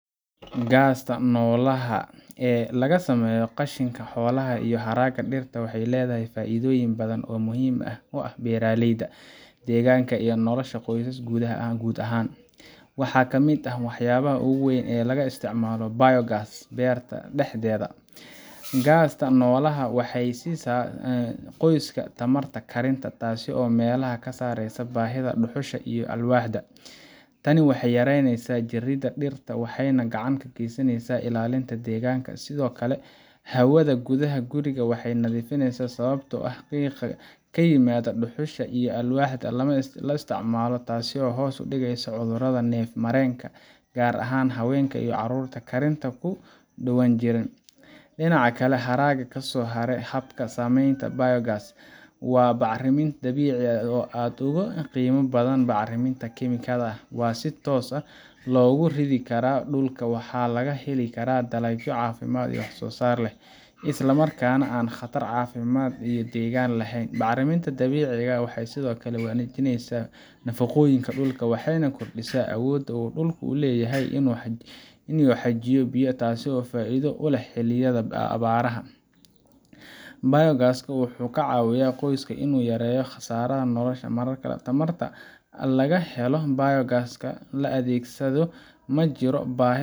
Gaasta noolaha ee laga sameeyo qashinka xoolaha iyo haraaga dhirta waxay leedahay faa’iidooyin badan oo muhiim u ah beeraleyda, deegaanka, iyo nolosha qoyska guud ahaan. Waxaa ka mid ah waxyaabaha ugu weyn ee laga helo isticmaalka biogas berta dhexdeeda: Gaasta noolaha waxay siisa qoyska tamarta karinta, taasoo meesha ka saaraysa baahida dhuxusha iyo alwaaxda. Tani waxay yaraynaysaa jaridda dhirta, waxayna gacan ka geysanaysaa ilaalinta deegaanka. Sidoo kale, hawada gudaha guriga way nadiifaysaa, sababtoo ah qiiqa ka yimaada dhuxusha iyo alwaaxda lama isticmaalo, taasoo hoos u dhigaysa cudurrada neef-mareenka, gaar ahaan haweenka iyo carruurta karinta ku dhowaan jiray. Dhinaca kale, haraga kasoo haray habka samaynta biogas waa bacriminta dabiiciga ah oo aad uga qiimo badan bacriminta kiimikada. Waxaa si toos ah loogu ridi karaa dhulka, waxaana laga helaa dalagyo caafimaad leh, wax-soosaar sare leh, isla markaana aan khatar caafimaad iyo deegaan lahayn. Bacrimintan dabiiciga ah waxay sidoo kale wanaajisaa nafaqooyinka dhulka, waxayna kordhisaa awoodda uu dhulku u leeyahay inuu xajiyo biyo, taasoo faa’iido u leh xilliyada abaaraha. biogas-ku wuxuu ka caawiyaa qoyska inuu yareeyo kharashka nolosha. Marka tamarta laga helo biogas kala adeegsado, ma jiro baahi